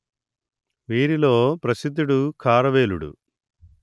వీరిలో ప్రసిద్ధుడు ఖారవేలుడు